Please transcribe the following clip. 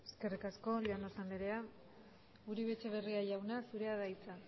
es ahora eskerrik asko llanos andrea uribe etxeberria jauna zurea da hitza